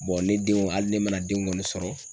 ne denw hali ne mana den kɔni sɔrɔ.